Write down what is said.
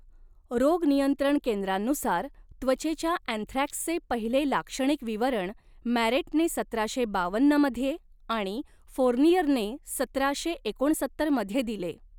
रोग नियंत्रण केंद्रांनुसार त्वचेच्या अँथ्रॅक्सचे पहिले लाक्षणिक विवरण मॅरेटने सतराशे बावन्न मध्ये आणि फोर्नियरने सतराशे एकोणसत्तर मध्ये दिले.